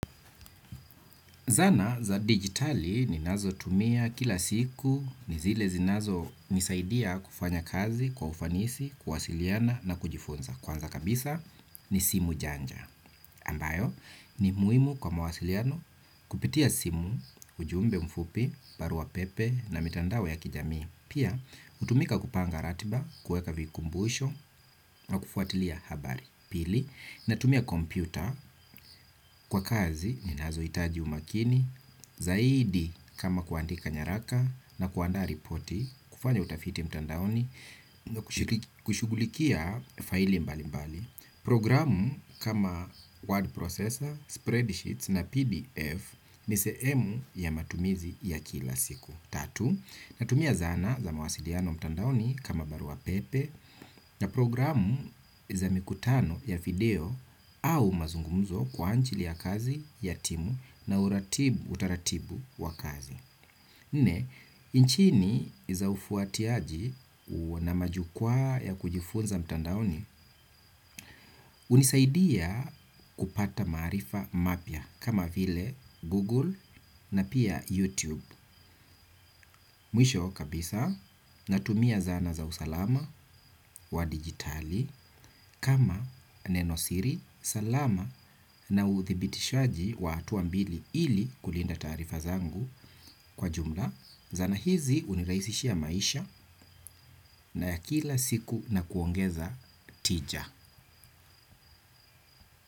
Zana za digitali ninazotumia kila siku, ni zile zinazonisaidia kufanya kazi kwa ufanisi, kuwasiliana na kujifunza. Kwanza kabisa ni simu janja. Ambayo ni muhimu kwa mwasiliano kupitia simu, ujumbe mfupi, barua pepe na mitandao ya kijamii. Pia hutumika kupanga ratiba, kuweka vikumbusho na kufuatilia habari. Pili, natumia kompyuta kwa kazi ninazohitaji umakini, zaidi kama kuandika nyaraka na kuandaa ripoti, kufanya utafiti mtandaoni, kushughulikia faili mbalimbali, programu kama word processor, spreadsheets na pdf, ni sehemu ya matumizi ya kila siku. Natumia zana za mawasiliano mtandaoni kama barua pepe na programu za mikutano ya video au mazungumzo kwa anjili ya kazi ya timu na utaratibu wa kazi. Nne, nchini za ufuatiaji na majukwaa ya kujifunza mtandaoni hunisaidia kupata maarifa mapya kama vile Google na pia YouTube. Mwisho kabisa natumia zana za usalama wa digitali kama nenosiri salama na uthibitishaji wa hatua mbili ili kulinda taarifa zangu kwa jumla. Zana hizi hunirahisishia maisha na ya kila siku na kuongeza tija.